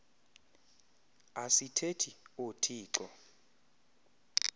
asi thethi oothixo